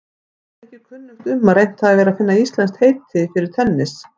Mér er ekki kunnugt um að reynt hafi verið að finna íslenskt heiti fyrir tennis.